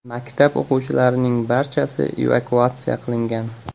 Maktab o‘quvchilarining barchasi evakuatsiya qilingan.